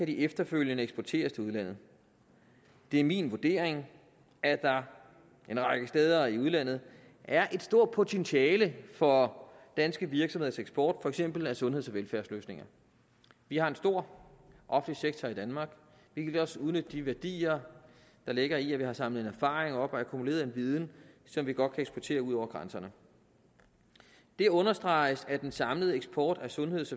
de efterfølgende eksporteres til udlandet det er min vurdering at der en række steder i udlandet er et stort potentiale for danske virksomheders eksport for eksempel af sundheds og velfærdsløsninger vi har en stor offentlig sektor i danmark vi kan også udnytte de værdier der ligger i at vi har samlet erfaring op og akkumuleret en viden som vi godt kan eksportere ud over grænserne det understreges af at den samlede eksport af sundheds